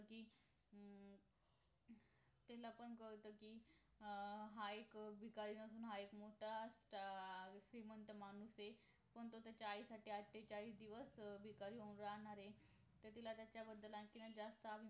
कि अं तीला पण कळत कि अं हा एक भिकारी म्हणुन हा एक मोठा star श्रीमंत माणूस आहे पण तो त्याच्या आईसाठी आठेचाळीस दिवास भिकारी होऊन राहणार आहे तर तिला त्याच्या बद्दल आणखीनच जास्त